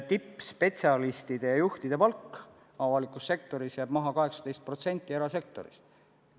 Tippspetsialistide ja juhtide palk avalikus sektoris jääb 18% erasektorist maha.